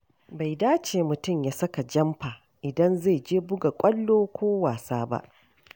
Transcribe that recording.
Bai dace mutum ya saka jamfa idan zai je buga ƙwallo ko wasa ba.